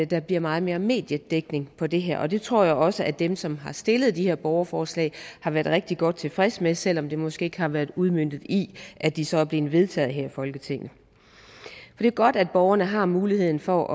der bliver meget mere mediedækning på det her det tror jeg også at dem som har stillet de her borgerforslag har været rigtig godt tilfredse med selv om det måske ikke har været udmøntet i at de så er blevet vedtaget her i folketinget det er godt at borgerne har muligheden for